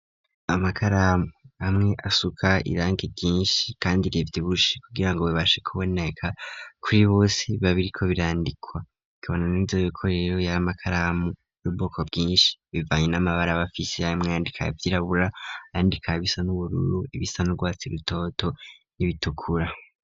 Amakaramu amwe asuka iranki ryinshi kandi rivyibushe, kugira ngo bibashe kuboneka kuri bose, babiriko birandikwa, ikabonaniza yiko rero y'amakaramu y'ububoko bwinshi ,bivanye n'amabara abafisi aya mwandika vy'irabura, ayandika bisa n'ubururu, ibisanurwatsi rutoto ,n'ibitukura